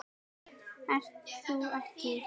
Ert þú ekki